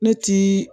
Ne tii